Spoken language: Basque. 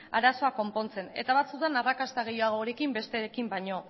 arazoa konpontzen eta batzuetan arrakasta gehiagorekin besterekin baino